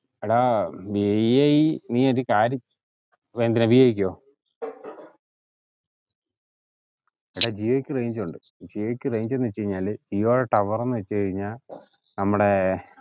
എടാ വിഐ നീ ഒരു കാര്യം എന്തിനാ വിഐക്കോ എടാ ജിയോക്ക് range ഉണ്ട് ജിയോക്ക് range ന്ന് വച്ച് കഴിഞ്ഞാല് ജിയോടെ tower ന്ന് വെച്ച് കഴിഞ്ഞാ നമ്മുടെ